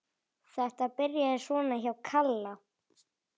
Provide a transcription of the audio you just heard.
Þetta byrjaði svona hjá Kalla.